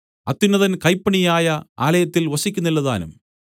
അത്യുന്നതൻ കൈപ്പണിയായ ആലയത്തിൽ വസിക്കുന്നില്ലതാനും